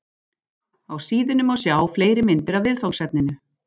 Á síðunni má sjá fleiri myndir af viðfangsefninu.